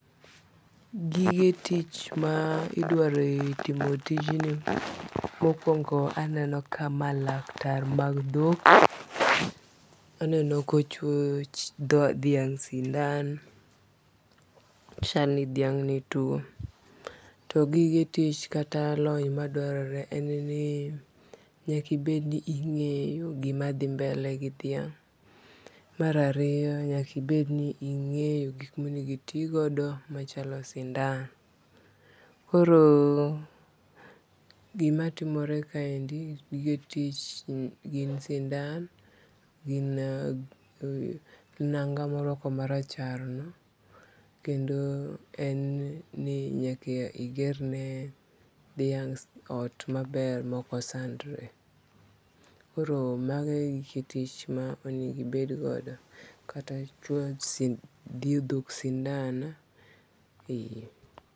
Gige tich ma idwaro e timo tijni mokwongo aneno kama laktar mag dhok. Aneno kochwo dhiang' sindan chalni dhiang' ni tuo. To gige tich kata lony madwarore en ni kik ibed ni ing'eyo gima dhi mbele gi dhiang'. Mar ariyo nyaki bed ni ing'eyo gik monego itigodo machalo sindan. Koro gima timore kaende gige jotich en sindan nanga morwako marachar no kendo en ni nyaka iger ne dhiang' ot maber moko sandre . Koro mago e gige tich ma onego ibed godo kata chuoyo dhok sindan